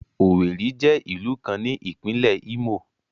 Owerri jẹ ilu kan ni Ipinle Imo